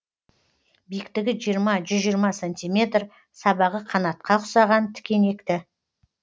биіктігі жиырма жүз жиырма сантиметр сабағы қанатқа ұқсаған тікенекті